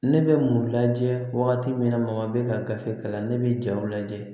Ne bɛ mun lajɛ wagati min na mɔgɔ bɛ ka gafe kalan ne bɛ jaw lajɛ